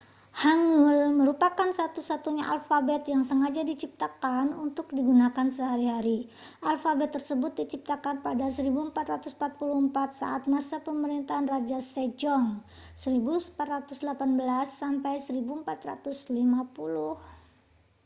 hangeul merupakan satu-satunya alfabet yang sengaja diciptakan untuk digunakan sehari-hari. alfabet tersebut diciptakan pada 1444 saat masa pemerintahan raja sejong 1418 - 1450